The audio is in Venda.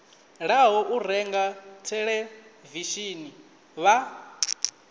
ḓaho u renga theḽevishini vha